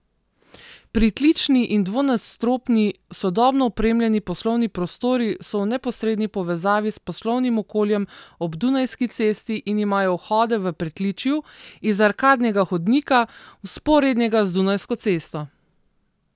Pritlični in dvonadstropni sodobno opremljeni poslovni prostori so v neposredni povezavi s poslovnim okoljem ob Dunajski cesti in imajo vhode v pritličju, iz arkadnega hodnika, vzporednega z Dunajsko cesto.